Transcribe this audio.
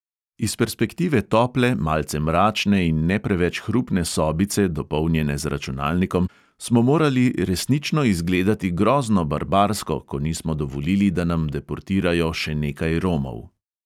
Iz perspektive tople, malce mračne in ne preveč hrupne sobice, dopolnjene z računalnikom, smo morali resnično izgledati grozno barbarsko, ko nismo dovolili, da nam deportirajo še nekaj romov.